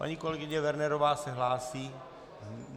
Paní kolegyně Wernerová se hlásí?